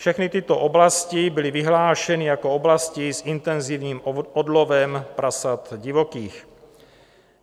Všechny tyto oblasti byly vyhlášeny jako oblasti s intenzivním odlovem prasat divokých.